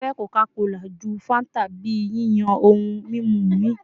Mo fẹ Coca-Cola ju Fanta bi yiyan ohun mimu mi